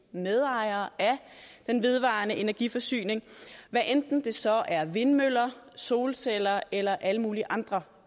medejere af den vedvarende energi forsyning hvad enten det så er vindmøller solceller eller alle mulige andre